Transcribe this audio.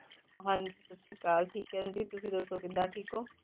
ਹਾਂਜੀ ਸਤਿ ਸ੍ਰੀ ਅਕਾਲ ਠੀਕ ਹੈ ਜੀ ਤੁਸੀਂ ਦੱਸੋ ਕਿੱਦਾਂ ਠੀਕ ਹੋ?